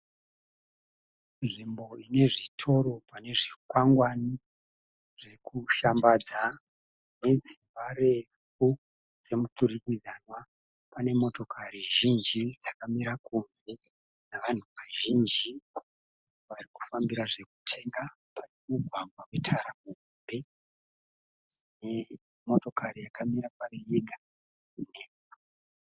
Nzvimbo inezvitoro panezvikwangwani zvekushambadza nedzimba refu dzemuturikidzanwa. Pane motokari zhinji dzakamira kunze nevanhu vazhinji varikufambira zvekutenga. Pane mumugwagwa wetara muhombe nemotokari yakamira kwayo yega nhema.